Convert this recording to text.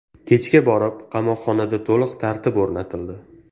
Kechga borib qamoqxonada to‘liq tartib o‘rnatildi.